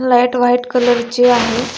Light white colour ची आहे.